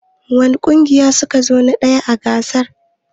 Wani ƙungiya ne su ka zo na ɗaya a gasar?